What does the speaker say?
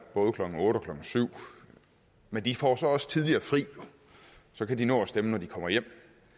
klokken otte eller klokken syv men de får så også typisk tidligere fri og så kan de nå at stemme når de kommer hjem